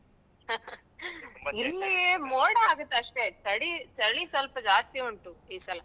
ಇಲ್ಲಿ ತುಂಬಾ ಮೋಡ ಆಗುತ್ತೆ ಅಷ್ಟೇ ಚಳಿ ಚಳಿ ಸ್ವಲ್ಪ ಜಾಸ್ತಿ ಉಂಟು ಈ ಸಲ.